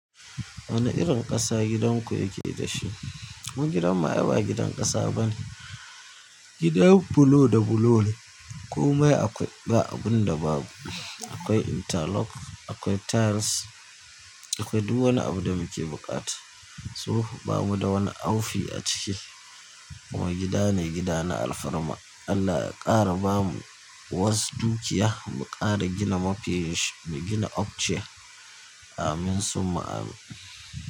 Wane irin ƙasa gidan ku yake dashi? Gidan mu ai ba gidan ƙasa bane, gidan bulo da bulo ne. Komai akwai, ba abun da babu. Akwai interlock, akwai tiles, akwai duk wani abu da muke buƙata. To ba mu da wani aufi a ciki ba. Kuma gida ne, gida na alfarma. Allah ya ƙara bamu wasu dukiya mu ƙara gina mafi, mu gina upstair. Amin summa amin.